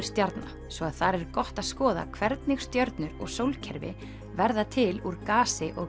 stjarna svo að þar er gott að skoða hvernig stjörnur og sólkerfi verða til úr gasi og